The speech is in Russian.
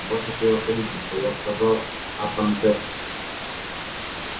ваше превосходительство я сказал атандес